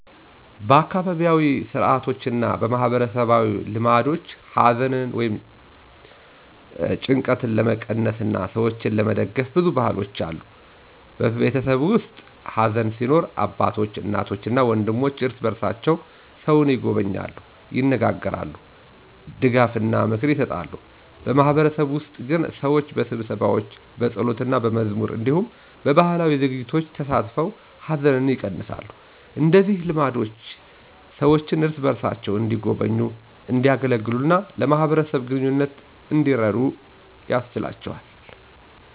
በአካባቢያዊ ሥርዓቶችና በማህበረሰብ ልማዶች ሐዘንን ወይም ጭንቀትን ለመቀነስ እና ሰዎችን ለመደግፍ ብዙ ባህሎች አሉ። በቤተሰብ ውስጥ ሐዘን ሲኖር አባቶች፣ እናቶች እና ወንድሞች እርስ በርሳቸው ሰውን ይጎበኛሉ፣ ይነጋገራሉ፣ ድጋፍና ምክር ይሰጣሉ። በማህበረሰብ ውስጥ ግን ሰዎች በስብሰባዎች፣ በጸሎትና በመዝሙር እንዲሁም በባህላዊ ዝግጅቶች ተሳትፈው ሐዘንን ይቀነሳሉ። እንደዚህ ልማዶች ሰዎችን እርስ በርሳቸው እንዲጎበኙ፣ እንዲያገለግሉ እና ለማህበረሰብ ግንኙነት እንዲረዱ ያስችላቸዋል።